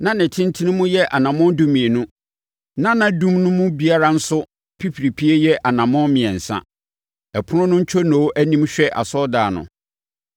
na ne tentene mu yɛ anammɔn dumienu, na nʼadum mu biara nso pipiripie yɛ anammɔn mmiɛnsa. Ɛpono no ntwonoo anim hwɛ asɔredan no.